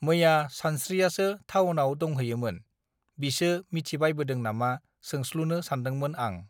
मैया सानस्त्रियासो थावनाव दंहैयोमोन बिसो मिथिबायबोदों नामा सोंस्लुनो सान्दोंमोन आं